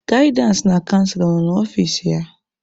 Gaịdịansị na canselọ ọ nọ n'ọfici ya?